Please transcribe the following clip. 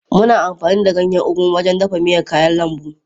Muna amfani da ganyen ugu wajen dafa miyar kayan lambu.